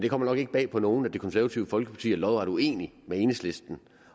kommer nok ikke bag på nogen at det konservative folkeparti er lodret uenig med enhedslisten